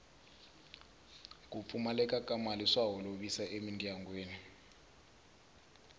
ku pfumaleka ka mali swa holovisa emindyangwini